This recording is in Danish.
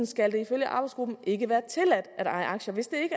skal det ifølge arbejdsgruppen ikke være tilladt at eje aktier hvis det